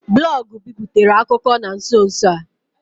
Blọọgụ biputere akụkọ na nso nso a.